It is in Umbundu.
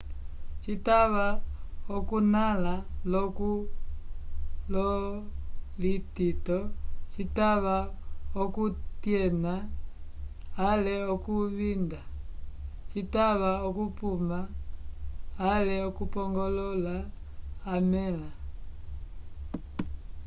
citava oku nala lo kulonlitito citava oku tiena ale oku vinda citava okupuma ale okupongolola amela